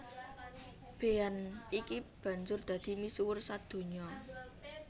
Bean iki banjur dadi misuwur sadonya